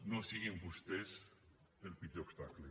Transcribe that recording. no siguin vostès el pitjor obstacle